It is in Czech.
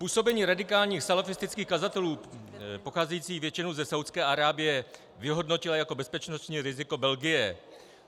Působení radikálních salafistických kazatelů pocházejících většinou ze Saúdské Arábie vyhodnotila jako bezpečnostní riziko Belgie.